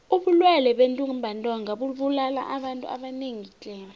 ubulwele bentumbantonga bubulala abantu abanengi tle